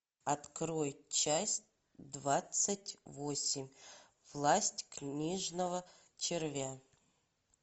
открой часть двадцать восемь власть книжного червя